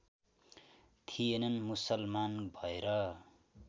थिएनन् मुसलमान भएर